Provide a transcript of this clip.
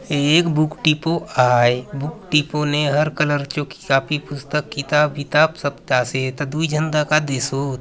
ये एक book depot आय बुक डिपो ने हर कलर चो कॉपी पुस्तक किताब - विताब सब आसे एथा दुय झन दखा देसोत।